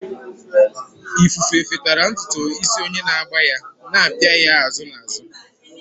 Ifufe fefetara ntutu isi onye na-agba ya, na-apịa ya azụ na azụ.